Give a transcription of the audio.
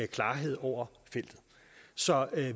klarhed over feltet så